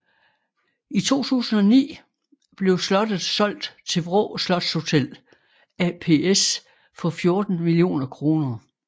I 2009 blev slottet solgt til Vraa Slotshotel ApS for 14 mio kr